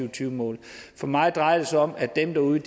og tyve mål for mig drejer det sig om at dem derude